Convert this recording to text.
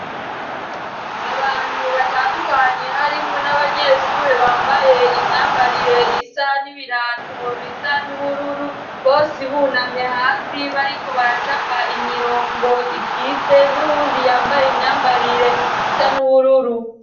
Abantu batandukanye harimwo n'abanyeshure bambaye imyambarire isa n'ibirato bisa n'ubururu bose ibunamye hasi bari ko baracapa imirongo ikize n'uwundi yambaye imyambarire isa n'ubururu.